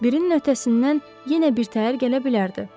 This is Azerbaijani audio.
Birinin öhdəsindən yenə birtəhər gələ bilərdi,